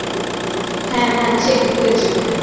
হ্যাঁ হ্যাঁ check book এর জন্যে